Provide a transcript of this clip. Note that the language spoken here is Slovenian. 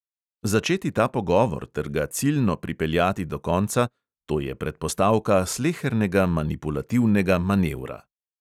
Začeti ta pogovor ter ga ciljno pripeljati do konca – to je predpostavka slehernega manipulativnega manevra.